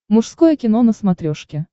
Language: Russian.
мужское кино на смотрешке